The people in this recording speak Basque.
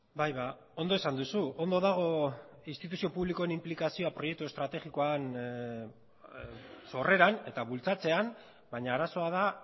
bai ondo esan duzu ondo dago instituzio publikoen inplikazioa proiektua estrategikoaren sorreran eta bultzatzea baina arazoa da